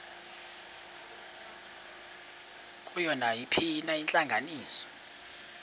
kuyo nayiphina intlanganiso